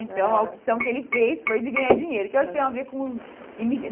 Então a opção que ele fez foi de ganhar dinheiro. Que eu acho que tem a ver com